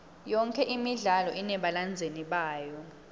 yonke imidlalo inebalandzeli bayo